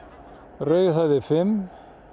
rauðhöfði fimm